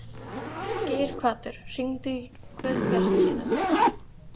Geirhvatur, hringdu í Guðbjartsínu.